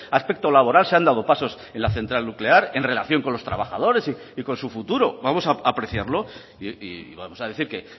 aspecto laboral se han dado pasos en la central nuclear en relación con los trabajadores y con su futuro vamos a apreciarlo y vamos a decir que